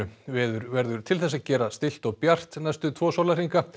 veður verður til þess að gera stillt og bjart næstu tvo sólarhringa